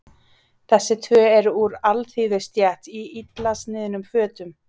Þessi tvö eru úr alþýðustétt í illa sniðnum fötum.